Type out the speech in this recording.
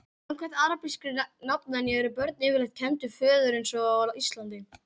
Samkvæmt arabískri nafnvenju eru börn yfirleitt kennd við föður eins og á Íslandi.